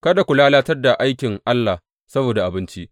Kada ku lalatar da aikin Allah saboda abinci.